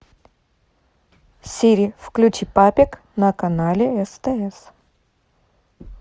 сири включи папик на канале стс